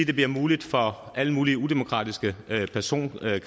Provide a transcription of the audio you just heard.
det bliver muligt for alle mulige udemokratiske personkredse